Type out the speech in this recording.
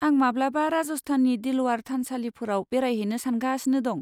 आं माब्लाबा राजस्थाननि दिलवारा थानसालिफोराव बेरायहैनो सानगासिनो दं।